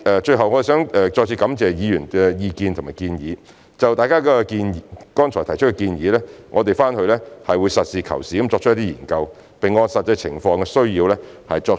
最後，我想再次感謝議員的意見和建議，就大家剛才提出的建議，我們會實事求是地研究，並按實際情況需要予以適當考慮。